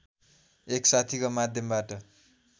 एक साथीको माध्यमबाट